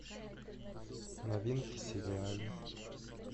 новинки сериалы